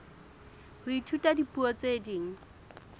ho ithuta dipuo tse ding